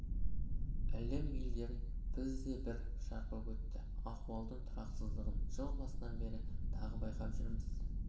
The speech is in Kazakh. әлем елдерін бізді де бір шарпып өтті ахуалдың тұрақсыздығын жыл басынан бері тағы байқап жүрміз